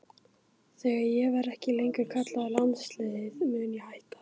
Þegar ég verði ekki lengur kallaður í landsliðið mun ég hætta.